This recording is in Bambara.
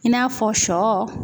I n'a fɔ sɔ